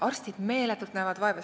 Arstid näevad meeletult vaeva.